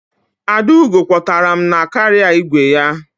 Adaugo kwọtara m na kaarịa igwe ya.